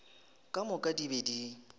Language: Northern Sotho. ka moka di be di